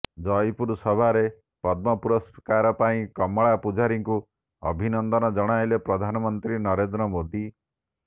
ଜୟପୁର ସଭାରେ ପଦ୍ମ ପୁରସ୍କାର ପାଇଁ କମଳା ପୂଜାରୀଙ୍କୁ ଅଭିନନ୍ଦନ ଜଣାଇଲେ ପ୍ରଧାନମନ୍ତ୍ରୀ ନରେନ୍ଦ୍ର ମୋଦି